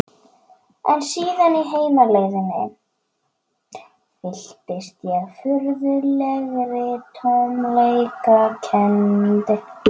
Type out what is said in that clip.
En síðan á heimleiðinni fylltist ég furðulegri tómleikakennd.